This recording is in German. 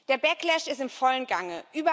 Der backlash ist im vollen Gange.